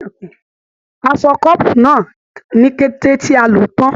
A o fọ kọ́ọ́bú náà ní kété tí a lò tán.